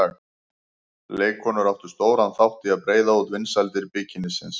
Leikkonur áttu stóran þátt í að breiða út vinsældir bikinísins.